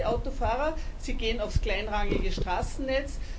Was machen die Autofahrer? Sie gehen aufs kleinrangige Straßennetz.